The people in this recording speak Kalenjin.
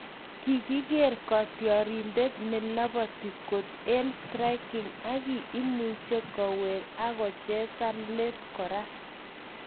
Kigiger kotiorindet ne loboti kot en striking agi imuche kowek ago chezan le kora.